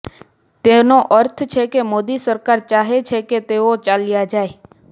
તેનો અર્થ છે કે મોદી સરકાર ચાહે છે કે તેઓ ચાલ્યા જાય